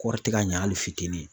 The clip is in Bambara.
Kɔɔri tɛ ka ɲa hali fitini.